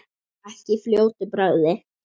Ekki í fljótu bragði.